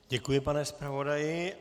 Děkuji, pane zpravodaji.